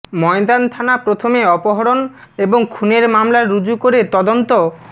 ময়দান থানা প্রথমে অপহরণ এবং খুনের মামলা রুজু করে তদন্ত